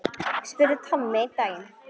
spurði Tommi einn daginn.